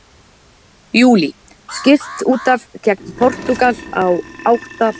Júlí: Skipt útaf gegn Portúgal í átta lið úrslitum vegna meiðsla.